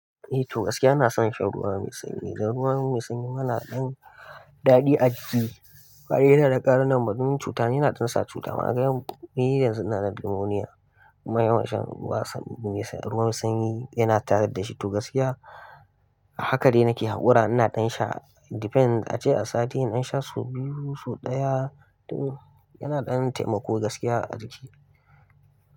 Eh to gaskiya ina son shan ruwa mai sanyi dan ruwa mai sanyi yana ɗan daɗi a jiki. Ɓare yana da ƙarin na marmin cuta yana jin sa cuta. Kaga yau ni yanzu inada pneumonia kuma yanawan shan ruwan sanyi yana tare da shi. To gaskiya haka dai nake haƙura ina ɗan sha depends ace a sati ina sha su biyu su ɗaya to yana ɗan taimako gaskiya a jiki.